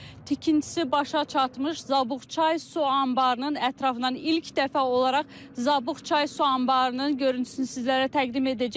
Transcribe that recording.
Tikintisi başa çatmış Zabuqçay su anbarının ətrafından ilk dəfə olaraq Zabuqçay su anbarının görüntüsünü sizlərə təqdim edəcəyik.